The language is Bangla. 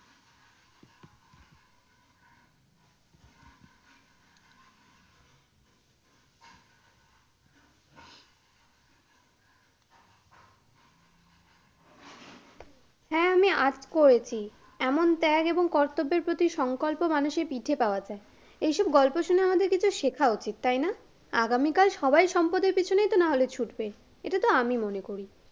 হ্যাঁ, আমি আঁচ করেছি এমন ত্যাগ এবং কর্তব্যের প্রতি সংকল্প মানুষের পিঠে পাওয়া যায় । এইসব গল্প শুনে আমাদের কিছু শেখা উচিত তাইনা, আগামিকাল নাহলে সবাই সম্পদের পিছে ছুটবে এটাতো আমি মনে করি।